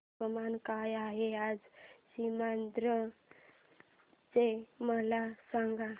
तापमान काय आहे आज सीमांध्र चे मला सांगा